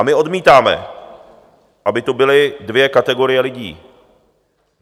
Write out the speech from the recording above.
A my odmítáme, aby tu byly dvě kategorie lidí.